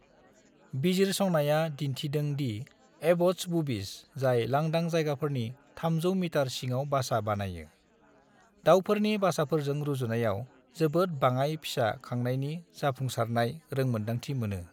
बिजिरसंनाया दिन्थिदों दि एबट्स बुबीज, जाय लांदां जायगाफोरनि 300 मिटार सिङाव बासा बानायो, दावफोरनि बासाफोरजों रुजुनायाव जोबोद बाङाय फिसा खांनायनि जाफुंसारनाय रोंमोनदांथि मोनो।